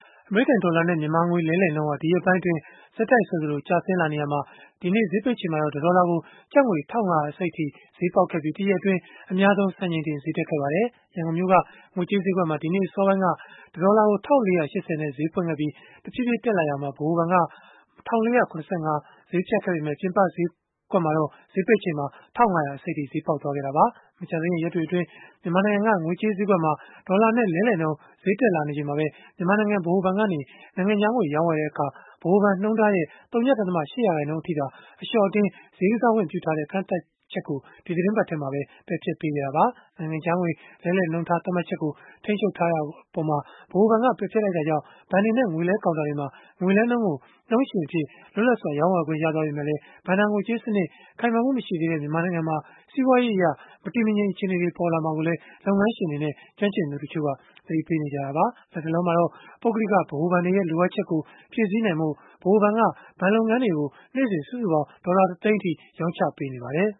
အမေရိကန်ဒေါ်လာနဲ့ မြန်မာငွေ လဲလှယ်နှုန်းဟာ ဒီရက်ပိုင်းအတွင်း ဆက်တိုက်ဆိုသလို ကျဆင်းလာနေရာမှာ ဒီနေ့ဈေးပိတ်ချိန်မှာတော့ တဒေါ်လာကို ကျပ်ငွေ ၁၅၂၅ ကျပ်အထိ ဈေးပေါက်ခဲ့ပြီး တရက်အတွင်း အများဆုံးစံချိန်တင် ဈေးတက်ခဲ့ပါတယ်။ ရန်ကုန်မြို့က ငွေကြေးဈေးကွက်မှာ ဒီနေ့အစောပိုင်းက တဒေါ်လာကို ၁၄၈၀ နဲ့ ဈေးဖွင့်ခဲ့ပြီး၊ တဖြည်းဖြည်း တက်လာခဲ့ရာမှာ ဗဟိုဘဏ်က ၁၄၇၅ ဈေးဖြတ်ခဲ့ပေမဲ့ ပြင်ပဈေးကွက်မှာတော့ ဈေးပိတ်ချိန်မှာ ၁၅၂၅ အထိ ဈေးပေါက်ခဲ့တာပါ။ မကြာသေးခင်ရက်တွေအတွင်း မြန်မာနိုင်ငံက ငွေကြေးဈေးကွက်မှာ ဒေါ်လာနဲ့လဲလှယ်နှုန်း တက်လာနေချိန်မှာပဲ မြန်မာနိုင်ငံ ဗဟိုဘဏ်ကနေ နိုင်ငံခြားငွေရောင်းဝယ်တဲ့အခါ ဗဟိုဘဏ်နှုန်းထားရဲ့ ဝ.၈ ရာခိုင်နှုန်းအထိသာ အလျှော့အတင်းဈေးကစားခွင့် ပြုထားတဲ့ ကန့်သတ်မှတ်ချက်ကို ဒီသီတင်းပတ်ထဲမှာပဲ ပယ်ဖျက်ခဲ့တာပါ။ နိုင်ငံခြားငွေလဲလှယ်နှုန်းထား သတ်မှတ်ချက်ကို ထိန်းချုပ်ထားတာကို ဗဟိုဘဏ်က ပယ်ဖျက်လိုက်တဲ့အတွက် ဘဏ်တွေနဲ့ ငွေလဲကောင်တာတွေမှာ ငွေလဲနှုန်းကို နှုန်းရှင်အဖြစ် လွတ်လပ်စွာ ရောင်းဝယ်ခွင့်ရရှိသွားပေမဲ့ ဘဏ္ဍာငွေကြေးစနစ် ခိုင်မာမှုမရှိသေးတဲ့ မြန်မာနိုင်ငံမှာ စီးပွားရေးအရ မတည်မငြိမ် အခြေအနေတွေ ပေါ်လာမှာကိုလည်း လုပ်ငန်းရှင်တွေနဲ့ ကျွမ်းကျင်သူတချို့က သတိပေးနေကြပါတယ်။ လတ်တလောမှာတော့ ပုဂ္ဂလိကဘဏ်တွေရဲ့ လိုအပ်ချက်ကို ဖြည့်ဆည်းနိုင်ဖို့ ဗဟိုဘဏ်က ဘဏ်လုပ်ငန်းတွေကို နေ့စဉ် ဒေါ်လာတသိန်း ရောင်းချပေးနေပါတယ်